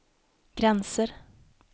gränser